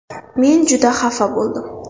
Men juda xafa bo‘ldim.